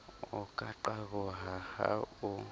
o ka qaboha ha o